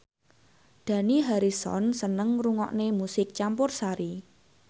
Dani Harrison seneng ngrungokne musik campursari